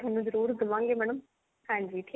ਜਰੁਰ ਦਵਾਂਗੇ madam ਹਾਂਜੀ